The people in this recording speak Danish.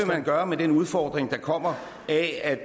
man gøre med den udfordring der kommer af at